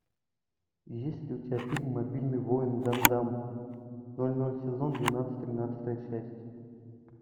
есть ли у тебя фильм мобильный воин гандам ноль ноль сезон двенадцать тринадцатая часть